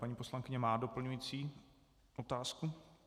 Paní poslankyně má doplňující otázku.